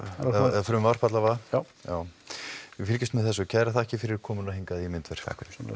eða frumvarp allavega já já við fylgjumst með þessu kærar þakkir fyrir komuna hingað í myndver